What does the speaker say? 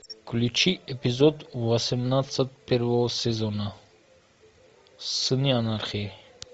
включи эпизод восемнадцать первого сезона сыны анархии